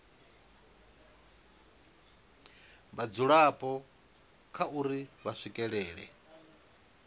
vhadzulapo kha uri vha swikelela